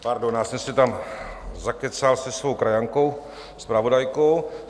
Pardon, já jsem se tam zakecal se svou krajankou zpravodajkou.